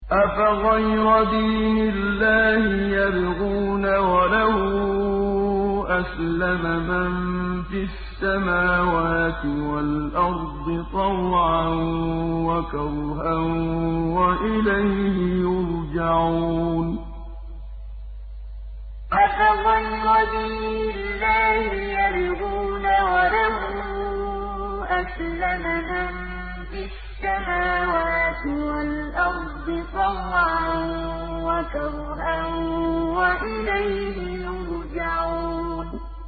أَفَغَيْرَ دِينِ اللَّهِ يَبْغُونَ وَلَهُ أَسْلَمَ مَن فِي السَّمَاوَاتِ وَالْأَرْضِ طَوْعًا وَكَرْهًا وَإِلَيْهِ يُرْجَعُونَ أَفَغَيْرَ دِينِ اللَّهِ يَبْغُونَ وَلَهُ أَسْلَمَ مَن فِي السَّمَاوَاتِ وَالْأَرْضِ طَوْعًا وَكَرْهًا وَإِلَيْهِ يُرْجَعُونَ